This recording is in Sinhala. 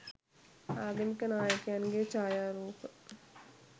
ආගමික නායකයන්ගේ ඡායාරූප